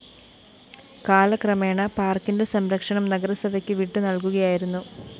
കാലക്രമേണ പാര്‍ക്കിന്റെ സംരക്ഷണം നഗരസഭയ്ക്ക് വിട്ടുനല്‍കുകയായിരുന്നു